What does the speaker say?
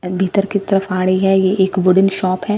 भीतर की तरफ आ रही है ये एक वुडेन शॉप है.